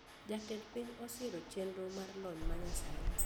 Jatend piny osiro chendro mar lony ma nyasani